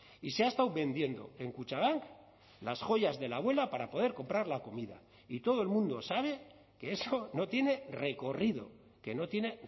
y se ha estado vendiendo en kutxabank las joyas de la abuela para poder comprar la comida y todo el mundo sabe que eso no tiene recorrido que no tiene